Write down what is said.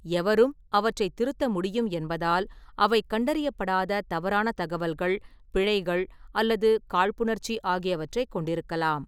எவரும் அவற்றைத் திருத்த முடியும் என்பதால், அவை கண்டறியப்படாத தவறான தகவல்கள், பிழைகள் அல்லது காழ்ப்புணர்ச்சி ஆகியவற்றைக் கொண்டிருக்கலாம்.